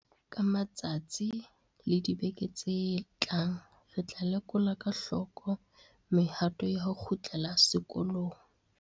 Ka matsatsi le dibeke tse tlang re tla lekola ka hloko mehato ya ho kgutlela sekolong.